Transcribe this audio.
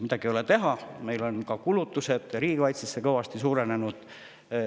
Midagi ei ole teha, meil on kulutused riigikaitsele kõvasti suurenenud.